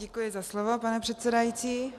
Děkuji za slovo, pane předsedající.